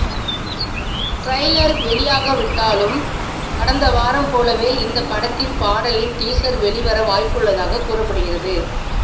trailer வெளியாகாவிட்டாலும் கடந்த வாரம் போலவே இந்த படத்தின் பாடலின் டீசர் வெளிவர வாய்ப்புள்ளதாக கூறப்படுகிறது